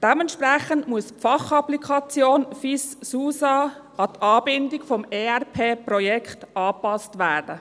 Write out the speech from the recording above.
Dementsprechend muss die Fachapplikation FIS/SUSA an die Anbindung des ERP-Projekts angepasst werden.